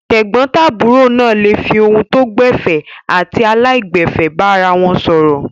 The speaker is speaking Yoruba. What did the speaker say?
Tẹ̀gbọ́ntàbúrò náà le fi ohùn tó gbẹ̀fẹ̀ àti aláìgbẹ̀fẹ̀ bára wọn sọ̀rọ̀.